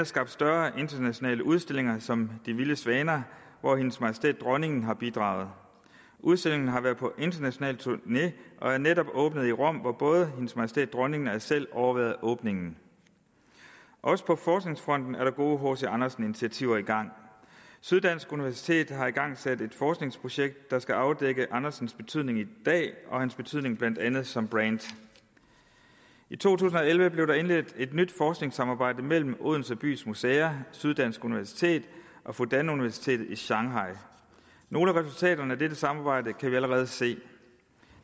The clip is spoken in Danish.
skabt større internationale udstillinger som de vilde svaner hvor hendes majestæt dronningen har bidraget udstillingen har været på international turné og er netop åbnet i rom hvor både hendes majestæt dronningen og jeg selv overværede åbningen også på forskningsfronten er der gode hc andersen initiativer i gang syddansk universitet har igangsat et forskningsprojekt der skal afdække andersens betydning i dag og hans betydning blandt andet som brand i to tusind og elleve blev der indledt et nyt forskningssamarbejde mellem odense bys museer syddansk universitet og fudan universitetet i shanghai nogle af resultaterne af dette samarbejde kan vi allerede se